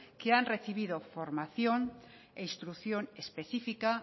que han recibido formación e instrucción específica